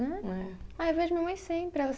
Ah, eu vejo minha mãe sempre, ela